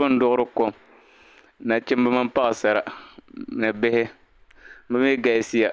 Niriba n-duɣiri kɔm. Nachimba mini paɣasara, ni bihi. Bi mi galisi ya.